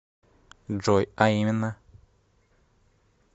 джой а именно